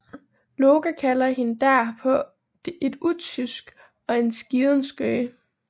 Loke kalder hende derpå et utyske og en skiden skøge